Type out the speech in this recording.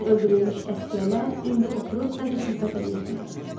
Dünən öldürülmüş əsgərlər indi oturub sanki söhbət eləyirdilər.